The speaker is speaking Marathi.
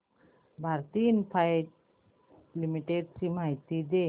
भारती इन्फ्राटेल लिमिटेड ची माहिती दे